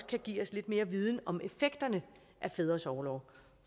kan give os lidt mere viden om effekterne af fædres orlov